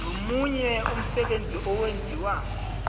nomunye umsebenzi owenziwa